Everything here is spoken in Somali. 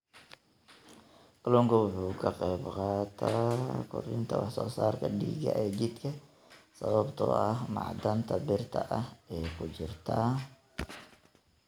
Kalluunku waxa uu ka qaybqaataa kordhinta wax soo saarka dhiigga ee jidhka sababtoo ah macdanta birta ah ee ku jirta.